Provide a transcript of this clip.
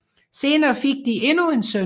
Senere fik de endnu en søn